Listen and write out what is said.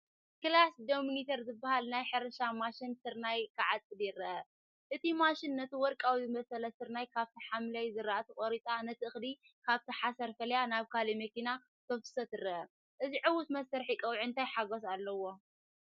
**ክላስ ዶሚነተር** ዝበሃል ናይ ሕርሻ ማሽን ስርናይ ክዓጽድ ይርአ። እታ ማሽን ነቲ ወርቃዊ ዝበሰለ ስርናይ ካብቲ ሓምላይ ዝራእቲ ቆሪጻ ነቲ እኽሊ ካብቲ ሓሰር ፈሊያ ናብ ካሊእ መኪና ከተፍስሶ ትረአ። እዚ ዕዉት መስርሕ ቀውዒ እንታይ ሓጐስ ኣለዎ፧